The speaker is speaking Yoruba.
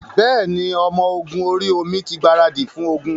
Bẹ́ẹ̀ ni, ọmọ ogun orí-omi tí gbaradì fún ogun.